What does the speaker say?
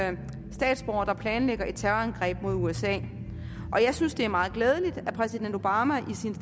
for eksempel statsborgere der planlægger et terrorangreb mod usa og jeg synes det er meget glædeligt at præsident obama i sin